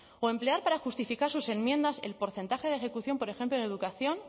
o emplear para justificar sus enmiendas el porcentaje de ejecución por ejemplo en educación